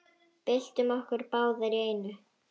Byltum okkur báðar í einu.